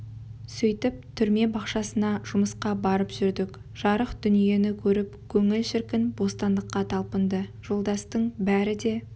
сөйтіп түрме бақшасына жұмысқа барып жүрдік жарық дүниені көріп көңіл шіркін бостандыққа талпынды жолдастың бәрі де